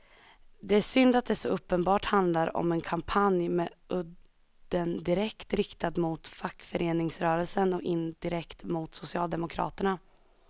Det är synd att det så uppenbart handlar om en kampanj med udden direkt riktad mot fackföreningsrörelsen och indirekt mot socialdemokraterna.